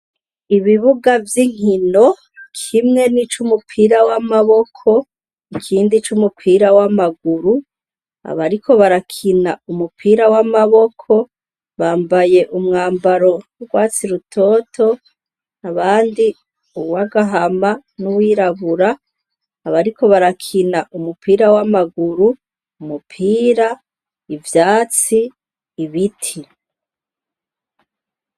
Ibibuga vy'inkino: kimwe ni ic'umupira w'amaboko, ikindi c'umupira w'amaguru. Abariko barakina umupira w'amaboko bambaye umwambaro w'urwatsi rutoto, abandi uw'agahama n'uwirabura, abariko barakina umupira w'amaguru, umupira, ivyatsi, ibiti.